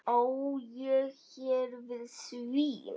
Á ég hér við svín.